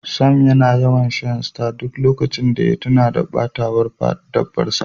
Sam yana yawan Shan star a duk lokacin da ya tuna da batawar dabbar sa.